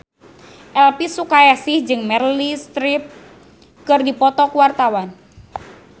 Elvi Sukaesih jeung Meryl Streep keur dipoto ku wartawan